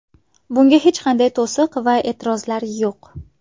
Bunga hech qanday to‘siq va e’tirozlar yo‘q.